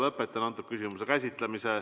Lõpetan selle küsimuse käsitlemise.